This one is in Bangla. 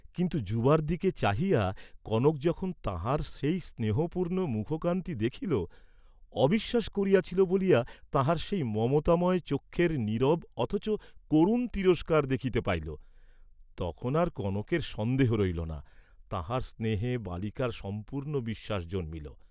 কিন্তু, যুবার দিকে চাহিয়া কনক যখন তাঁহার সেই স্নেহপুর্ণ মুখকান্তি দেখিল, অবিশ্বাস করিয়াছিল বলিয়া তাঁহার সেই মমতাময় চক্ষের নীরব অথচ করুণ তিরস্কার দেখিতে পাইল, তখন আর কনকের সন্দেহ রহিল না, তাঁহার স্নেহে বালিকার সম্পূর্ণ বিশ্বাস জন্মিল।